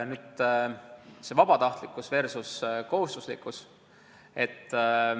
Nüüd see vabatahtlikkus versus kohustuslikkus.